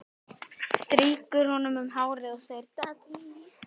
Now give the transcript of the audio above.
Strýkur honum um hárið og segir: